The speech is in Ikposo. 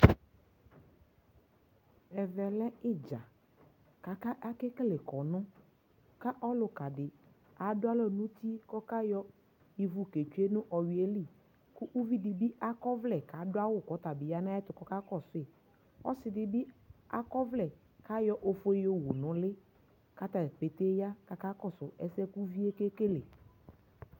ɛvɛ lɛ idza ko ake kele kɔno ko ɔloka di ado alɔ no uti ko ɔka yɔ ivu ke tsue no ɔwiɛ li ko uvi dibi akɔ ɔvlɛ ko ado awu ko ɔtabi ya no ayɛto ko ɔka kɔsu yi ɔsi dibi akɔ ɔvlɛ ko ayɔ ofue yowu no uli ko atadza ƒete ya ko aka kɔso ɛsɛ ko uvie ke kele